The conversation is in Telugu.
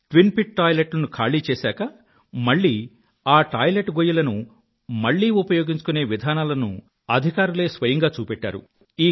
ట్విన్ పిట్ టాయిలెట్ లను ఖాళీ చేశాకా మళ్ళీ ఆ టాయిలెట్ గొయ్యిలను తిరిగి ఉపయోగించుకునే విధానాలను అధికారులే స్వయంగా చూపెట్టారు